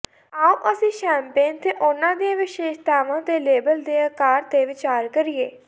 ਆਉ ਅਸੀਂ ਸ਼ੈਂਪੇਨ ਤੇ ਉਨ੍ਹਾਂ ਦੀਆਂ ਵਿਸ਼ੇਸ਼ਤਾਵਾਂ ਤੇ ਲੇਬਲ ਦੇ ਆਕਾਰ ਤੇ ਵਿਚਾਰ ਕਰੀਏ